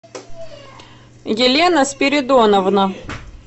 елена спиридоновна